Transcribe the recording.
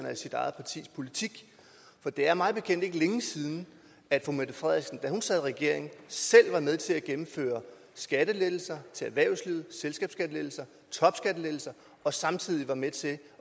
af sit eget partis politik for det er mig bekendt ikke længe siden at fru mette frederiksen da hun sad i regering selv var med til at gennemføre skattelettelser til erhvervslivet selskabsskattelettelser topskattelettelser og samtidig var med til